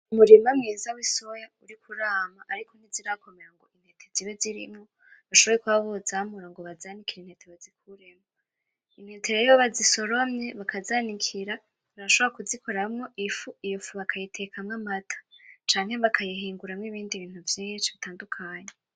Umurima mwiza w'isoya uriko urama ariko ntizirakomera ku giti zibe zirimwo bashobore kuba bozamura ngo bazanikire intete bazikuremwo, intete rero iyo bazisoromye bakazanikira barashobora kuzikoramwo ifu, iyo fu bakatekamwo amata canke bakayihinguramwo ibindi bintu vyinshi bitandukanye.